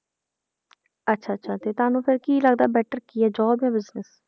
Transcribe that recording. ਅੱਛਾ ਅੱਛਾ ਤੇ ਤੁਹਾਨੂੰ ਫਿਰ ਕੀ ਲੱਗਦਾ better ਕੀ ਹੈ job ਜਾਂ business